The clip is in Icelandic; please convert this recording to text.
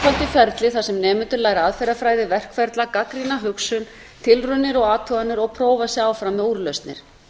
skapandi ferli þar sem nemendur læra aðferðafræði verkferla gagnrýna hugsun tilraunir og athuganir og prófa sig áfram með úrlausnir